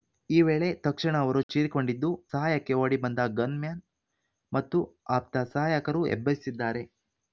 ಈ ವೇಳೆ ತಕ್ಷಣ ಅವರು ಚೀರಿಕೊಂಡಿದ್ದು ಸಹಾಯಕ್ಕೆ ಓಡಿಬಂದ ಗನ್‌ಮ್ಯಾನ್‌ ಮತ್ತು ಆಪ್ತ ಸಹಾಯಕರು ಎಬ್ಬಿಸಿದ್ದಾರೆ